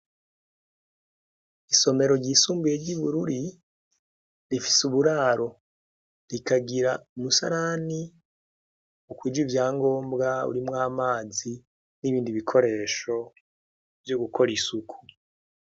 Isomero ry'isumbuye ry'Bururi ,rifise uburaro, rikagira umusarani ukwije ivyangombwa, urimwo amazi nibindi bikoresho vyo gukora isuku.